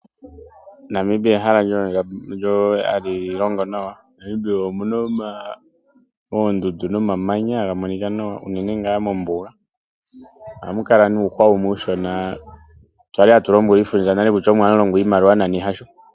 Namibia ehala lyoondjamba, ehala ndyoka hali longo nawa , Namibia omuna oondundu nomamanya haga monika nawa uunene ngaa mombuga, ohamu kala nuuhwa wumwe uunshona kwali hatu lombwelwa iifundja nale kutya omo hamu longwa iimaliwa nani hasho.